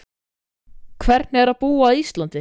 Hvernig er að búa á Íslandi?